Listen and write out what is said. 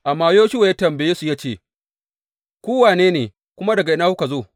Amma Yoshuwa ya tambaye su ya ce, Ku wane ne, kuma daga ina kuka zo?